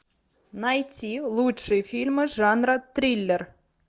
найти лучшие фильмы жанра триллер